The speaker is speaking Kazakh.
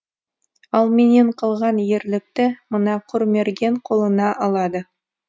ал менен қалған ерлікті мына құрмерген қолына алады